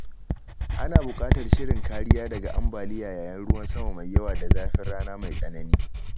Ana bukatar shirin kariya daga ambaliya yayin ruwan sama mai yawa da zafin rana mai tsanani.